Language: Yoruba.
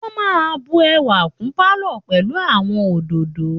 Wọ́n máa ń bu ẹwà kún pálọ̀ pẹ̀lú àwọn òdòdó